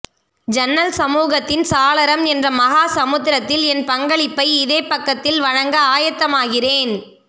ஜன்னல் சமூகத்தின் சாளரம் என்ற மஹா சமுத்திரத்தில் என் பங்களிப்பை இதே பக்கத்தில் வழங்க ஆயத்தமாகிறேன்